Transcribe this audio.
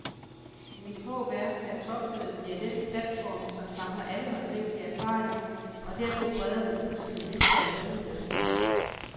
Mit håb er, at topmødet bliver den platform, som samler alle håndgribelige erfaringer og derpå breder dem ud som en vifte af muligheder.